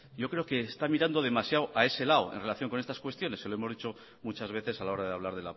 yo creo que está mirando demasiado a ese lado en relación con esas cuestiones se lo hemos dicho muchas veces a la hora de hablar